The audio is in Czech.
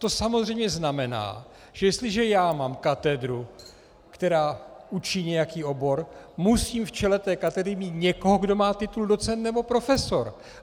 To samozřejmě znamená, že jestliže já mám katedru, která učí nějaký obor, musím v čele té katedry mít někoho, kdo má titul docent nebo profesor.